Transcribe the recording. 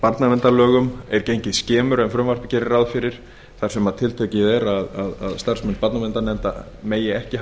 barnaverndarlögum er gengið skemur en frumvarpið gerir ráð fyrir þar sem tiltekið er að starfsmenn barnaverndarnefnda megi ekki